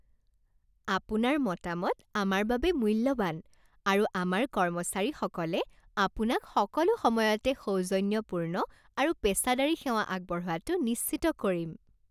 আপোনাৰ মতামত আমাৰ বাবে মূল্যৱান, আৰু আমাৰ কৰ্মচাৰীসকলে আপোনাক সকলো সময়তে সৌজন্যপূৰ্ণ আৰু পেছাদাৰী সেৱা আগবঢ়োৱাটো নিশ্চিত কৰিম।